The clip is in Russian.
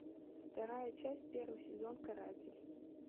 вторая часть первый сезон каратель